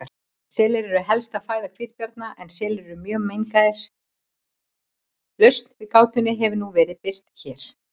Lausn við gátunni hefur nú verið birt hér.